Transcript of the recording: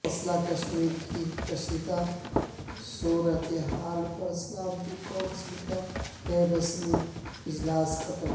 مسئلہ کشمیر کی کشیدہ صورتحال پر سلامتی کونسل کاغیر رسمی اجلاس ختم